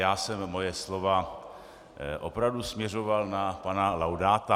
Já jsem svá slova opravdu směřoval na pana Laudáta.